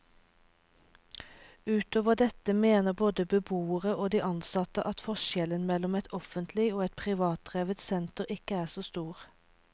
Utover dette mener både beboerne og de ansatte at forskjellen mellom et offentlig og et privatdrevet senter ikke er så stor.